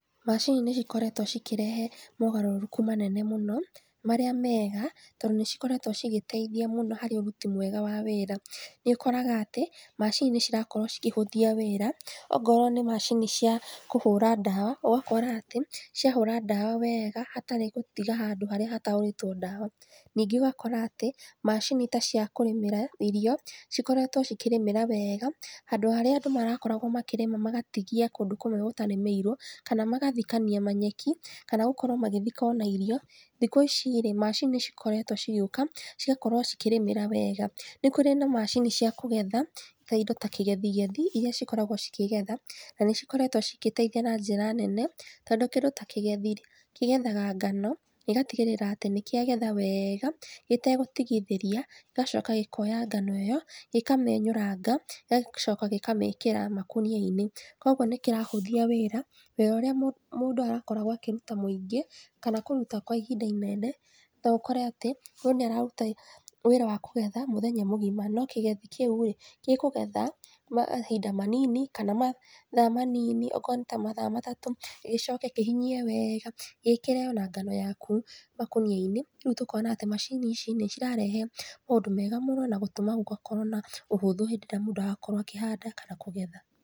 Macini nĩcikoretwo cikĩrehe magarũrũku manene mũno, marĩa mega, to nĩcikoretwo cigĩteithia mũno harĩ ũruti mwega wa wĩra. Nĩũkoraga atĩ, macini nĩirakorwo cikĩhũthia wĩra, okorwo nĩ macini cia kũhũra ndawa ugakora atĩ, ciahũra ndawa wega hatarĩ gũtiga handũ harĩa hatahũrĩtwo ndawa. Ningĩ ũgakora atĩ macini ta cia kũrĩmĩra irio cikoretwo cikĩrĩmĩra weega handũ harĩa andũ marakoragwo makĩrĩma magatigia kũndũ kũmwe gũtarĩmĩirwo, kana magathikania manyeki, kana gũkorwo magĩthika ona irio, thikũ ici rĩ, macini cikoretwo cigĩũka cigakorwo cikĩrĩmĩra wega. Nĩkũrĩ na macini cia kũgetha, ta indo ta kĩgethigethi iria cikoragwo cikĩgetha na nĩ cikoretwo cĩgĩteithia na njĩra nene tondũ ta kĩgethi rĩ, kĩgethaga ngano, gĩgatigĩrĩra atĩ nĩkĩagetha weega gĩtegũtigithĩria gĩgacoka gĩkoya ngano ĩyo, gĩkamĩenyũranga, gĩgacoka gĩkamĩkĩra makũnia-inĩ koguo nĩkĩrahũthia wĩra, wĩra ũrĩa mũndũ arakoragwo akĩruta mũingĩ, kana kũruta kwa ihinda inene, noũkore atĩ, mũndũ nĩararuta wĩra wa kũgetha mũthenya mũgima no kĩgethi kĩu rĩ, gĩkũgetha mahinda manini kana mathaa manini okorwo nĩ ta mathaa matatũ gĩcoke kĩhinyie weega gĩĩkĩre ona ngano yaku makũnia-inĩ rĩu tũkona atĩ macini ici nĩcirarehe maũndũ mega mũno na gũtũma gũgakorwo na ũhũthũ hĩndĩ ĩrĩa mũndũ arakorwo akĩhanda kana kũgetha.